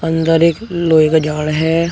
अंदर एक लोहे का झाड़ है।